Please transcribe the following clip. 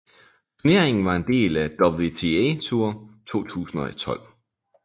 Turneringen var en del af WTA Tour 2012